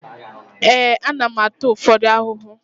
Ee, ana m ata ụfọdụ ahụhụ